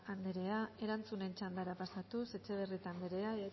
anderea erantzunen txandara pasatuz etxebarrieta anderea